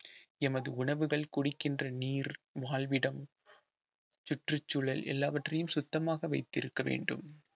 எமது உணவுகள் குடிக்கின்ற நீர் வாழ்விடம் சுற்றுச்சூழல் எல்லாவற்றையும் சுத்தமாக வைச்சிருக்க வேண்டும்